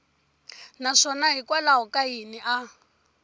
naswona hikwalaho ka yini a